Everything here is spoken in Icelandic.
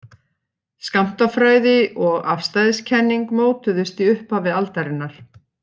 Skammtafræði og afstæðiskenning mótuðust í upphafi aldarinnar.